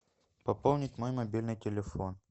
пополнить мой мобильный телефон